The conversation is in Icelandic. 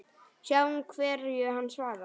Sjáum hverju hann svarar.